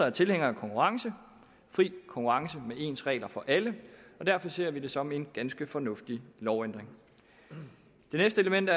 er tilhænger af konkurrence fri konkurrence med ens regler for alle og derfor ser vi det som en ganske fornuftig lovændring det næste element